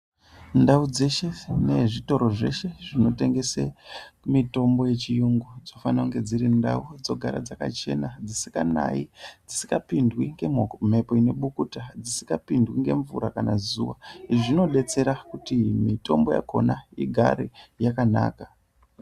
Ndau dzeshe nezvitoro zveshe zvinotengese mutombo yechiyungu dzinofane kunge dziri ndau dzogara dzakachena dzisikanayi dzisikapindwi ngemhoko mhepo inekobukuta dzisikapindwi ngemvura kana zuwa izvi zvinodetsera kuti mitombo yakhona igare yakanaka.